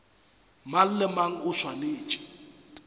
mang le mang o swanetše